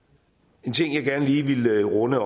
en ting jeg også gerne lige ville runde